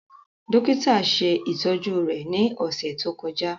Dokita ṣe itọju rẹ ni ọsẹ to kọja.